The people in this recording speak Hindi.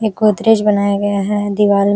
इ गोदरेज बनाया गया है दीवान --